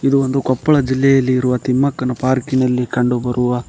ಇದು ಒಂದು ಕೊಪ್ಪಳದ ಜಿಲ್ಲೆಯಲ್ಲಿರುವ ತಿಮ್ಮಕ್ಕನ ಪಾರ್ಕಿ ನಲ್ಲಿ ಕಂಡುಬರುವ.